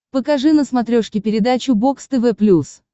покажи на смотрешке передачу бокс тв плюс